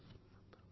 మూడో phone call